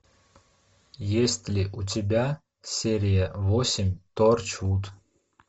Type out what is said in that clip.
есть ли у тебя серия восемь торчвуд